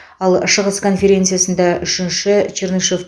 ал шығыс конференциясында үшінші чернышев